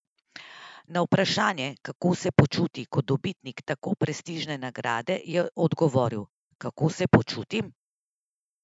Na vprašanje, kako se počuti kot dobitnik tako prestižne nagrade, je odgovoril: "Kako se počutim?